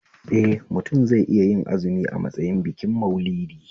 Eh mutum zai iya yin azumi a matsayin bikin Maulidi